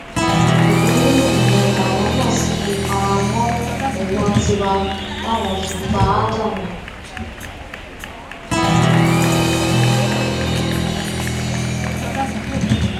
ìbínú ìyẹn làwọn náà sì fi kanra mọ ẹgbọn tiwa táwọn fi pa á dànù